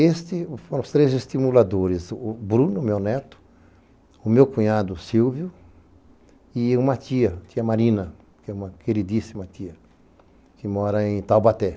Estes foram os três estimuladores, o Bruno, meu neto, o meu cunhado, Silvio, e uma tia, tia Marina, que é uma queridíssima tia, que mora em Taubaté.